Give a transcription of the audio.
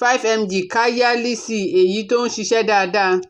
five mg Káyálíìsì, èyí tó ń ṣiṣẹ́ dáada